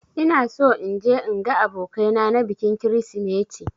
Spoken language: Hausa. Ina so in je in ga abokai na na bikin krisimeti